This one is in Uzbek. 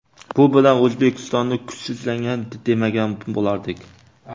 Bu bilan O‘zbekistonni kuchsizlangan demagan bo‘lardik.